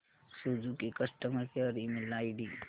Suzuki customer care email ID